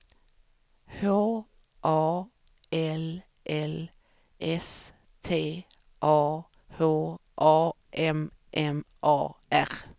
H A L L S T A H A M M A R